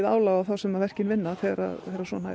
álag á þá sem verkin vinna þegar